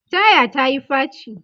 taya ta Yi faci